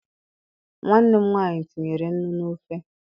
Nwanne m nwaanyị tinyere nnu n'ofe